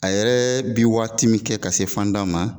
A yɛrɛ bi waati min kɛ ka se fanda ma